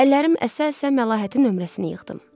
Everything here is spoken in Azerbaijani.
Əllərim əsə-əsə Məlahətin nömrəsini yığdım.